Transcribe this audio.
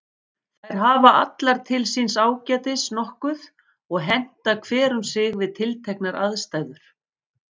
Þær hafa allar til síns ágætis nokkuð og henta hver um sig við tilteknar aðstæður.